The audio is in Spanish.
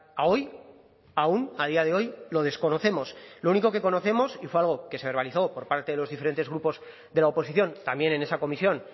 a hoy aún a día de hoy lo desconocemos lo único que conocemos y fue algo que se verbalizó por parte de los diferentes grupos de la oposición también en esa comisión